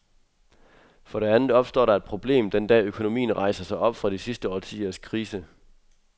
For det andet opstår der et problem, den dag økonomien rejser sig op fra de sidste årtiers krise.